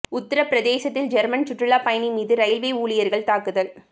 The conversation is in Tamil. உத்தர பிரதேசத்தில் ஜெர்மன் சுற்றுலா பயணி மீது ரயில்வே ஊழியர்கள் தாக்குதல்